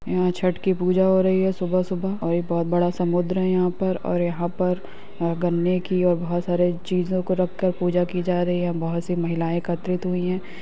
यहाँ छठ की पूजा हो रही है सुबह सुबह और ये बहुत बड़ा समुद्र हैं यहाँ पर और यहाँ पर गन्ने की और बहुत सारी चीजो को रख कर पूजा की जा रही है बहुत सी महिलाएं एकत्रित हुई हैं।